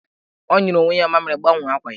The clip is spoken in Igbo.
Ọ nyụrụ onwe ya mamịrị, gbanwee akwa ya!